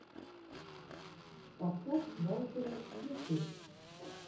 подкаст вайпера ютюб